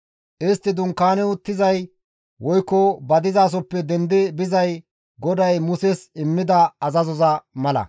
Istti dunkaani uttizay woykko ba dizasoppe dendi bizay GODAY Muses immida azazoza mala.